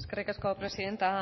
eskerrik asko presidente